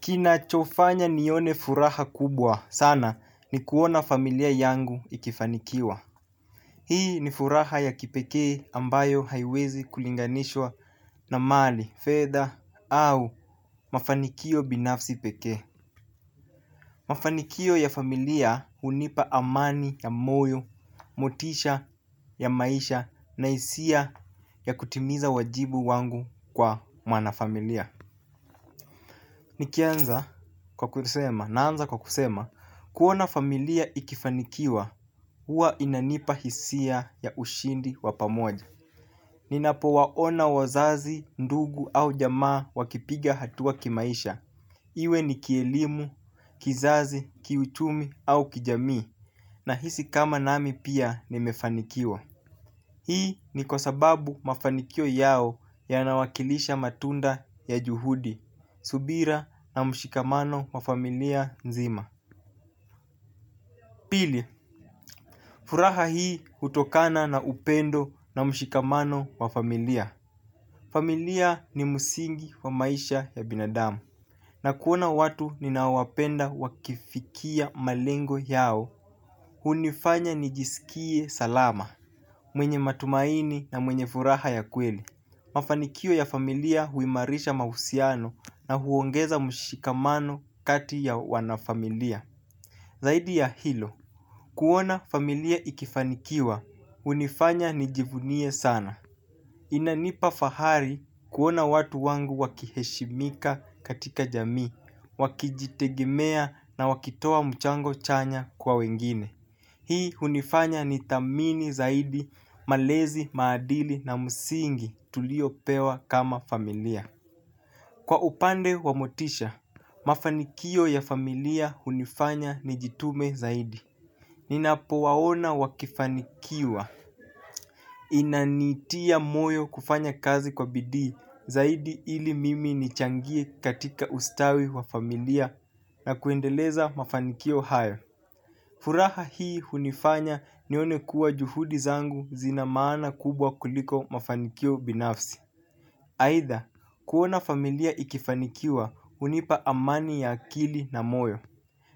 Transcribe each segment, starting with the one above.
Kinachofanya nione furaha kubwa sana ni kuona familia yangu ikifanikiwa hii ni furaha ya kipekee ambayo haiwezi kulinganishwa na mali fedha au mafanikio binafsi pekee. Mafanikio ya familia hunipa amani ya moyo, motisha ya maisha na isia ya kutimiza uwajibu wangu kwa maana familia. Nikianza kwa kusema naanza kwa kusema kuona familia ikifanikiwa huwa inanipa hisia ya ushindi wa pamoja ninapowaona wazazi ndugu au jamaa wakipiga hatua kimaisha. Iwe ni kielimu, kizazi, kiuchumi au kijamii nahisi kama nami pia nimefanikiwa. Hii ni kwa sababu mafanikio yao yanawakilisha matunda ya juhudi, subira na mshikamano wa familia nzima. Pili, furaha hii hutokana na upendo na mshikamano wa familia. Familia ni musingi wa maisha ya binadamu na kuona watu ninaowapenda wakifikia malengo yao. Hunifanya nijisikie salama mwenye matumaini na mwenye furaha ya kweli. Mafanikio ya familia huimarisha mahusiano na huongeza mushikamano kati ya wanafamilia zaidi ya hilo kuona familia ikifanikiwa hunifanya nijivunie sana inanipa fahari kuona watu wangu wakiheshimika katika jamii wakijitegemea na wakitoa mchango chanya kwa wengine. Hii hunifanya nithamini zaidi, malezi, maadili na musingi tuliopewa kama familia. Kwa upande wa motisha, mafanikio ya familia hunifanya nijitume zaidi. Ninapowaona wakifanikiwa. Inanitia moyo kufanya kazi kwa bidii zaidi ili mimi nichangie katika ustawi wa familia na kuendeleza mafanikio hayo. Furaha hii hunifanya nione kuwa juhudi zangu zina maana kubwa kuliko mafanikio binafsi aitha kuona familia ikifanikiwa hunipa amani ya akili na moyo.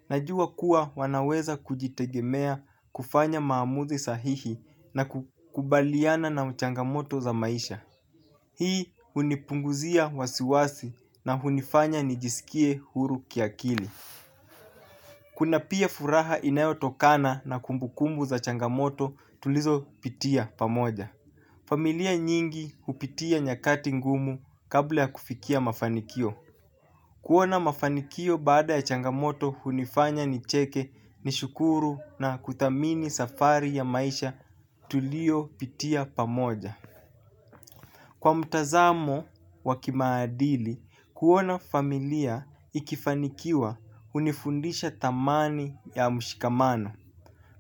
Najua kuwa wanaweza kujitegemea kufanya maamuzi sahihi na kukubaliana na mchangamoto za maisha. Hii hunipunguzia wasiwasi na hunifanya nijisikie huru kiakili. Kuna pia furaha inayotokana na kumbukumbu za changamoto tulizopitia pamoja. Familia nyingi hupitia nyakati ngumu kabla ya kufikia mafanikio. Kuona mafanikio baada ya changamoto hunifanya nicheke nishukuru na kuthamini safari ya maisha tuliopitia pamoja. Kwa mtazamo wa kimaadili, kuona familia ikifanikiwa hunifundisha thamani ya mshikamano,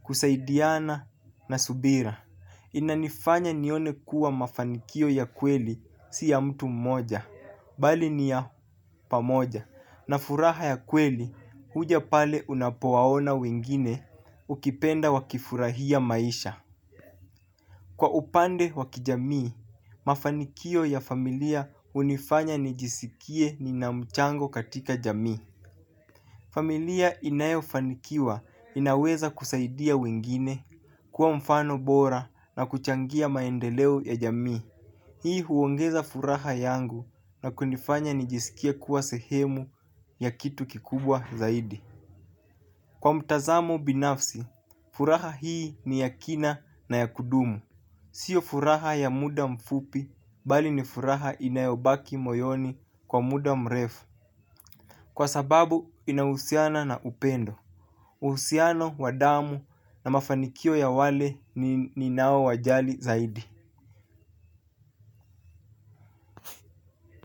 kusaidiana na subira. Inanifanya nione kuwa mafanikio ya kweli si ya mtu mmoja, bali ni ya pamoja, na furaha ya kweli huja pale unapowaona wengine ukipenda wakifurahia maisha. Kwa upande wa kijamii mafanikio ya familia hunifanya nijisikie nina mchango katika jamii. Familia inayofanikiwa inaweza kusaidia wengine, kuwa mfano bora na kuchangia maendeleo ya jamii. Hii huongeza furaha yangu na kunifanya nijisikie kuwa sehemu ya kitu kikubwa zaidi. Kwa mtazamo binafsi, furaha hii ni ya kina na ya kudumu. Sio furaha ya muda mfupi, bali ni furaha inayobaki moyoni kwa muda mrefu. Kwa sababu inahusiana na upendo. Uhusiano, wa damu na mafanikio ya wale ninaowajali zaidi.